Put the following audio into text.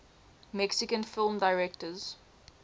mexican film directors